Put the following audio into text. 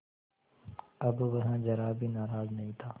अब वह ज़रा भी नाराज़ नहीं था